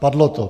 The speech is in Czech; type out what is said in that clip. Padlo to.